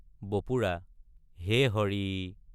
বপুৰা— হে হৰি!